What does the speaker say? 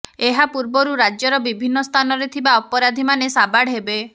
ଏହାପୂର୍ବରୁ ରାଜ୍ୟର ବିଭିନ୍ନ ସ୍ଥାନରେ ଥିବା ଅପରାଧୀମାନେ ସାବାଡ ହେବେ